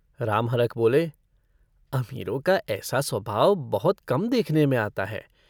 रामहरख बोले - अमीरों का ऐसा स्वभाव बहुत कम देखने में आता है।